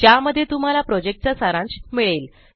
ज्यामध्ये तुम्हाला प्रोजेक्ट चा सारांश मिळेल